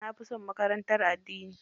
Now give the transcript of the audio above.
Na fi son makarantar addini.